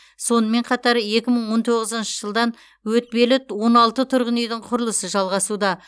сонымен қатар екі мың он тоғызыншы жылдан өтпелі он алты тұрғын үйдің құрылысы жалғасуда